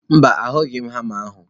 Mba, ahughị m hama ahụ.